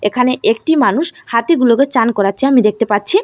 এখানে একটি মানুষ হাতিগুলোকে চান করাচ্ছে আমি দেখতে পাচ্ছি।